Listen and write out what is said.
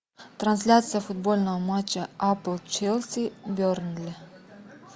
трансляция футбольного матча апл челси бернли